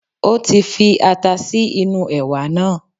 Ó ti fi ata sí inú ẹ̀wà náà